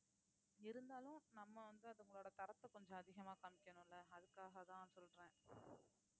இருந்தாலும் நம்ம வந்து அதுங்களோட தரத்தை கொஞ்சம் அதிகமா காமிக்கணும்ல அதுக்காகதான் சொல்றேன்